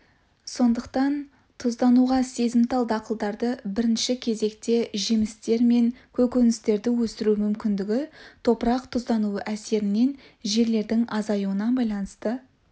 сондықтан тұздануға сезімтал дақылдарды бірінші кезекте жемістер мен көкөністерді өсіру мүмкіндігі топырақ тұздануы әсерінен жерлердің азаюына байланысты